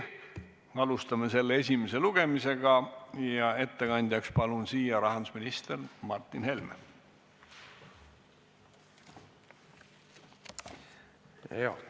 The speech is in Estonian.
Alustame selle esimest lugemist ja ettekandjaks palun siia rahandusminister Martin Helme!